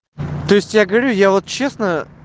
то есть я говорю я вот честно